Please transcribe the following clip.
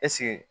Ɛseke